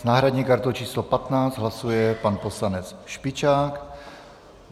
S náhradní kartou číslo 15 hlasuje pan poslanec Špičák.